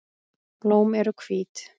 Blóm eru hvít.